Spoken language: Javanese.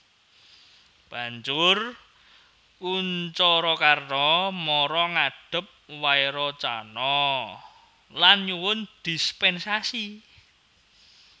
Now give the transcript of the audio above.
Banjur Kunjarakarna mara ngadhep Wairocana lan nyuwun dispènsasi